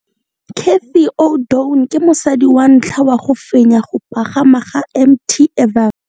Cathy Odowd ke mosadi wa ntlha wa go fenya go pagama ga Mt Everest.